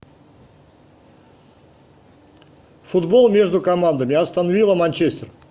футбол между командами астон вилла манчестер